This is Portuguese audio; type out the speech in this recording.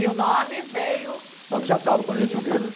E o nome veio. O nome já estava quando a gente veio.